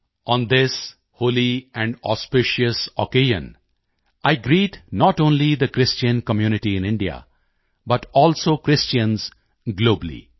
on this Holi and auspicious occasion I greet not only the Christian community in India but also Christians globally